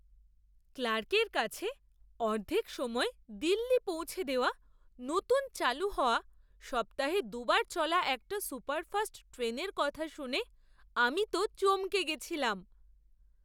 ক্লার্কের কাছে অর্ধেক সময়ে দিল্লি পৌঁছে দেওয়া নতুন চালু হওয়া সপ্তাহে দু'বার চলা একটা সুপারফাস্ট ট্রেনের কথা শুনে আমি তো চমকে গেছিলাম!